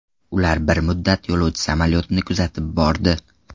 Ular bir muddat yo‘lovchi samolyotini kuzatib bordi.